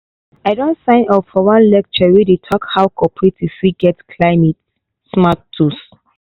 i don sign up for one lecture wey dey talk how cooperatives fit get climate-smart tools.